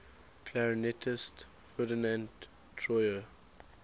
clarinetist ferdinand troyer